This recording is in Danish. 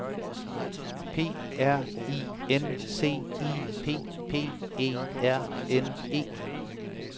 P R I N C I P P E R N E